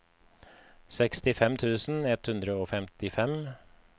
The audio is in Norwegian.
sekstifem tusen ett hundre og femtifem